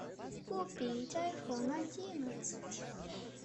купить айфон одиннадцать